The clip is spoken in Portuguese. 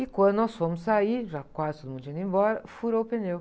E quando nós fomos sair, já quase todo mundo tinha ido embora, furou o pneu.